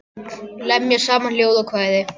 Lemja saman ljóð og kvæði.